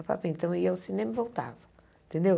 A papinha então ia ao cinema e voltava, entendeu?